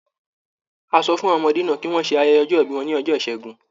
A sọ fún àwọn ọmọdé náà kí wọ́n ṣe ayẹye ọjọ-ìbí wọn ní ọjọ́ Ìṣẹ́gun.